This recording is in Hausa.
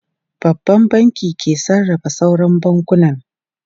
Babban Bankin ke sarrafa sauran bankunan.